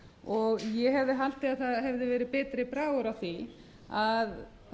og ég hefði haldið að betri bragur hefði verið á því að